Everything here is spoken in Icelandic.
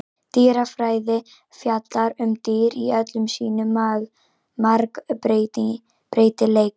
Dýrafræði fjallar um dýr í öllum sínum margbreytileika.